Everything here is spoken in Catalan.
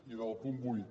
i del punt vuit